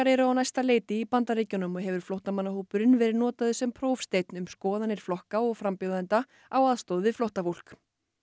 eru á næsta leiti í Bandaríkjunum og hefur flóttamannahópurinn verið notaður sem prófsteinn um skoðanir flokka og frambjóðenda á aðstoð við flóttafólk